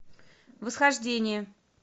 восхождение